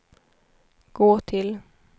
gå till